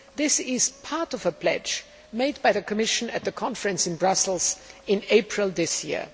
This is part of a pledge made by the Commission at the conference in Brussels in April this year.